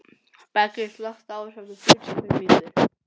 Beggi, slökktu á þessu eftir fjörutíu og fimm mínútur.